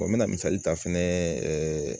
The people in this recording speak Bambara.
n bɛ misali ta fɛnɛ